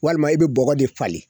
Walima i bɛ bɔgɔ de falen.